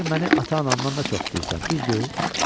deyilər məni ata-anamdan da çox istəyirsən, düzdür?